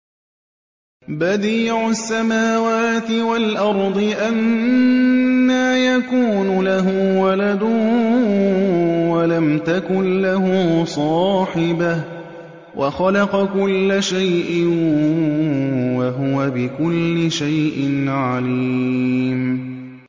بَدِيعُ السَّمَاوَاتِ وَالْأَرْضِ ۖ أَنَّىٰ يَكُونُ لَهُ وَلَدٌ وَلَمْ تَكُن لَّهُ صَاحِبَةٌ ۖ وَخَلَقَ كُلَّ شَيْءٍ ۖ وَهُوَ بِكُلِّ شَيْءٍ عَلِيمٌ